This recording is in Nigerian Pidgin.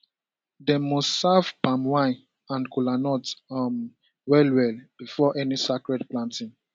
dem must serve palm wine and kola nut um well well before any sacred planting